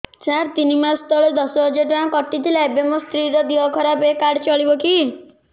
ସାର ତିନି ମାସ ତଳେ ଦଶ ହଜାର ଟଙ୍କା କଟି ଥିଲା ଏବେ ମୋ ସ୍ତ୍ରୀ ର ଦିହ ଖରାପ ଏ କାର୍ଡ ଚଳିବକି